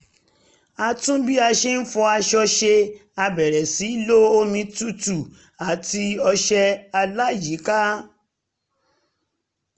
a tún bí a ṣe ń fọ aṣọ ṣe a bẹ̀rẹ̀ sí í lo omi tútù àti ọṣẹ aláyíká